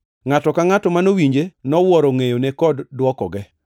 Ngʼato ka ngʼato manowinje nowuoro ngʼeyone kod dwokoge.